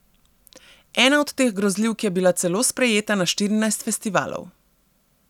Ena od teh grozljivk je bila celo sprejeta na štirinajst festivalov.